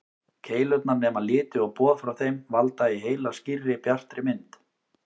Keilurnar nema liti og boð frá þeim valda í heila skýrri, bjartri mynd.